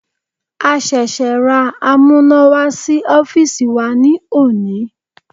A ṣẹ̀ṣẹ̀ ra amúnáwá sí ọ́fìsì wa ní òní.